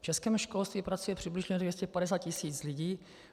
V českém školství pracuje přibližně 250 tisíc lidí.